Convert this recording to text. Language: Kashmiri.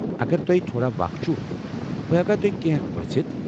اگر تۄہہ تھوڑا وخ چھُ بہ ہٮ۪کا تۄہہ کٮ۪نٛہہ پرژھِتھ؟